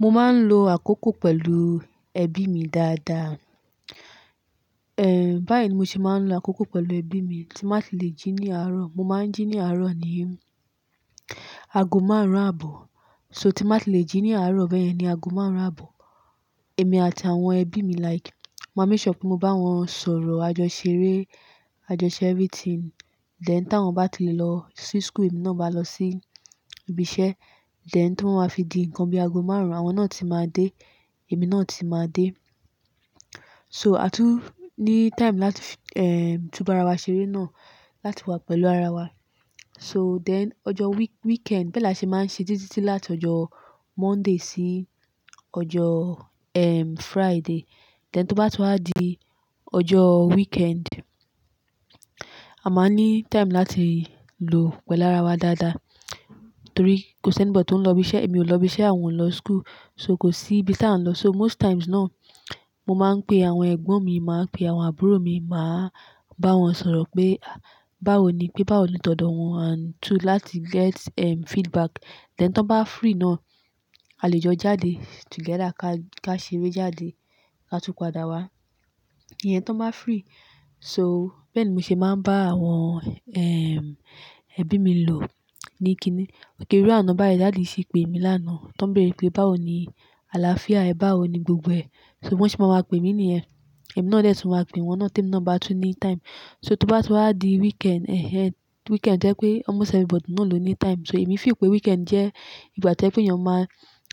Mo máa ń lo àkókò pẹ̀lú ẹbí mi dáadáa. Ehn, báyìí ni mo ṣe máa ń lo àkókò pẹ̀lú ẹbí mi tí n bá ti le jí ní àárọ̀. Mo máa ń jí ní àárọ̀ ní ago márùn-ún àbọ̀. So tí bá ti le jí ní àárọ̀ bẹ́ẹ̀ yẹn ni ago márùn-ún àbọ̀. Èmi àti àwọn ẹbí mi like, mo máa ń make sure pé mo bá wọn sọ̀rọ̀, àjọṣeré, àjọṣe everything. Then táwọn bá ti lè lọ sí school, èmi náà máa lọ sí ibi iṣẹ́. Then tó bá ma fi di ǹnkan bí ago márùn-ún, àwọn náà ti máa dé, èmi náà ti máa dé. So a tún ní time láti eh, túbá ara wa ṣeré náà láti wá pẹ̀lú ara wa. So then ọjọ́ week-weekend bẹ́ẹ̀ la ṣe máa ń ṣe. Títí láti ọjọ́ Monday sí ọjọ́ ehm Friday. Then tó bá ti wà di ọjọ́ weekend, a máa ní time láti lò pẹ̀lú ara wa dáadáa. Torí kò ṣì anybody tó ń lọ ibi iṣẹ́, èmi ò lọ ibi iṣẹ́, àwọn ò lọ school. So kò sí ibi tí a ń lọ. So most times náà, mo máa ń pe àwọn ẹ̀gbọ́n mi, màá pe àwọn àbúrò mi, màá bá wọn sọ̀rọ̀ pé báwo ni pé báwo ni tọdọ wọn and too láti get ehm feedback. Then tí wọ́n bá free náà, a lè jọ jáde together ká ṣeré jáde, ká tú padà wá. Iye tí wọ́n bá free. So bẹ́ẹ̀ ni mo ṣe máa ń bá àwọn eh ẹbí mi lò ní kíni. Irú àná báyìí daddy ṣì pé mi lánàá. Tán bèèrè pé báwo ni àlàáfíà ẹ́, báwo ni gbogbo ẹ. So wọ́n sì máa máa pè mí ní ẹ. Èmi náà dè tún máa pè wọn náà tí èmi nà bá tún ní time. So tó bá ti wà di weekend eh eh weekend tó jẹ́ pé almost everybody náà ló ní time. So èmi feel pé weekend jẹ́ ìgbà tí ọjẹ́ wípé èèyàn máa,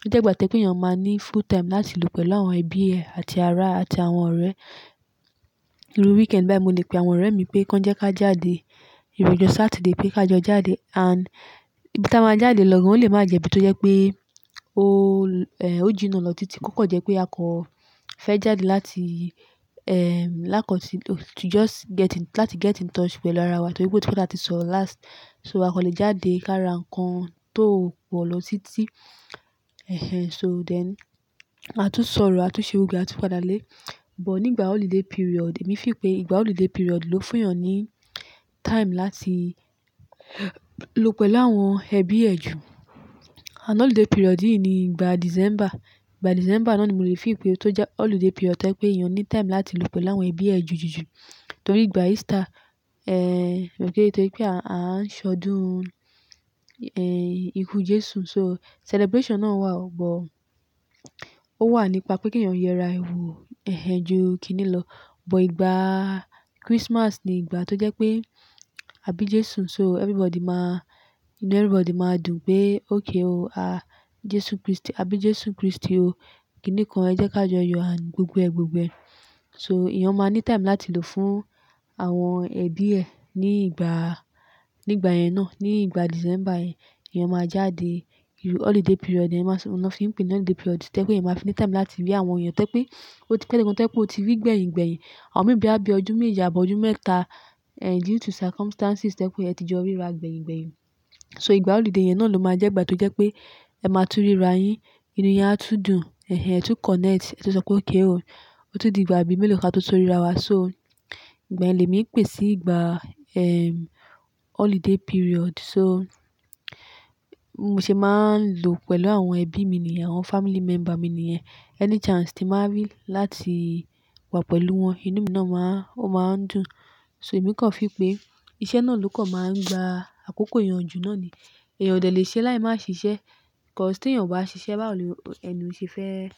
ó jẹ́ ìgbà tí ó jẹ́ wípé èèyàn máa ní full time láti lò pẹ̀lú àwọn ẹbí rẹ àti ará àti àwọn ọ̀rẹ́. Irú weekend báyìí mo lè pe àwọn ọ̀rẹ́ mi pé kí wọ́n jẹ́ ká jáde, ìrú ọjọ́ Saturday pé kí a jọ jáde and ibi tí a máa jáde lọ gan ò le máa jẹ́ ibi tó jẹ́ pé o eh o jìnnà lọ títí. Kò kọ̀ jẹ́ pé a kọ́ fẹ́ jáde láti eh lákòó tí to just get in, láti get in touch pẹ̀lú ara wa tọ́ rí pé ó ti pẹ́ tí àti sọ̀rọ̀ last. So a kò lè jáde ká ra ǹkan tó pọ̀ lọ títí. Eh eh so then a tún sọ̀rọ̀, a tún ṣe gbogbo ẹ a tún padà lé. But nígbà holiday period, èmi feel pé ìgbà holiday period ló fún èèyàn ní time láti lò pẹ̀lú àwọn ẹbí ẹ ju. Ànd holiday period yìí ni ìgbà December. Ìgbà December náà ni mò lè feel pé tó jẹ́ holiday period tó jẹ́ pé èèyàn ní time láti lò pẹ̀lú àwọn ẹbí ẹ ju jú ju. Torí ìgbà Easter eh okay torí pé a ń ṣọdún eh ikú Jésù so celebration náà wà ọ̀pọ̀. Ó wà nípa pé kí èèyàn yera èni wo ẹ́ ju kíni lọ. But ìgbà Christmas ni ìgbà tó jẹ́ pé àbí Jésù so everybody má inú everybody máa dùn pé okay o a Jésù Kristi àbí Jésù Kristi o kíni kan ẹ jẹ́ ká jọ yọ and gbogbo ẹ gbogbo ẹ. So èèyàn máa ní time láti lò fún àwọn ẹbí ẹ ní ìgbà, nígbà yẹn náà. Ní ìgbà December yẹn, èèyàn máa jáde. Irú holiday period èèyàn máa sọ, ohun ni mo fi ń pè n holiday period tó jẹ́ pé èèyàn máa fi ní time láti rí àwọn èèyàn. Tó jẹ́ pé ó ti pẹ̀lé gan tó jẹ́ pé ó ti rí gbẹ̀yin gbẹ̀yin. Àwọn mìíràn bóyá bí ọjọ́ méje àbọ́ ọjọ́ mẹ́ta eh due to circumstances tó jẹ́ pé ẹ ti jọ ríra gbẹ̀yin gbẹ̀yin. So ìgbà holiday yẹn náà ló máa jẹ́ ìgbà tó jẹ́ pé ẹ máa tún ríra yín, inú yín á tún dùn. Eh ẹ tún connect, ẹ tún sọ pé okay o. Ó tún di ìgbà bí mélòó ká tó tún ríra wa so ìgbà yẹn lẹ́mi pè sí ìgbà ehm holiday period so mo ṣe máa ń lò pẹ̀lú àwọn ẹbí mi ni àwọn family member mi ni ẹ́. Any chance tí màá rí láti wà pẹ̀lú wọn, inú mi náà máa, ó máa ń dùn. So èmi kọ́ ń feel pé iṣẹ́ náà ló kọ̀ máa ń gba àkókò èèyàn jù náà ni. Ẹ̀èyàn ò dé lè ṣe láì máa ṣiṣẹ́. Because tí èèyàn ò bá ṣiṣẹ́ báwo ni ẹni òun ò ṣe fẹ́.